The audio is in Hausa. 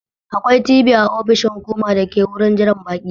Akwai TV a ofishin hukuma dake da wurin jiran baƙi.